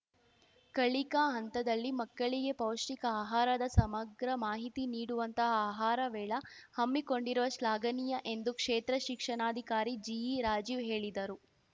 ಕಲಿಕಾ ಹಂತದಲ್ಲಿ ಮಕ್ಕಳಿಗೆ ಪೌಷ್ಟಿಕ ಆಹಾರದ ಸಮಗ್ರ ಮಾಹಿತಿ ನೀಡುವಂತಹ ಆಹಾರ ಮೇಳ ಹಮ್ಮಿಕೊಂಡಿರುವ ಶ್ಲಾಘನೀಯ ಎಂದು ಕ್ಷೇತ್ರ ಶಿಕ್ಷಣಾಧಿಕಾರಿ ಜಿಇ ರಾಜೀವ್‌ ಹೇಳಿದರು